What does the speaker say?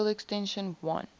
field extension l